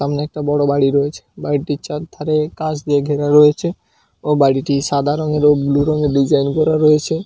সামনে একটা বড় বাড়ি রয়েছে বাড়িটির চারধারে কাঁচ দিয়ে ঘেরা রয়েছে ও বাড়িটি সাদা রঙের এবং ব্লু রঙের ডিজাইন করা রয়েছে।